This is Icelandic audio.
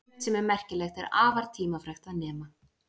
Sumt sem er merkilegt er afar tímafrekt að nema.